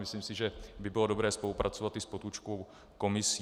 Myslím si, že by bylo dobré spolupracovat i s Potůčkovou komisí.